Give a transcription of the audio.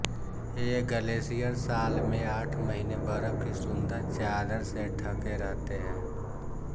ये ग्लेशियर साल में आठ महीने बर्फ की सुंदर चादर से ठके रहते हैं